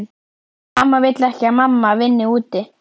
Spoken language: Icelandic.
Amma vill ekki að mamma vinni úti.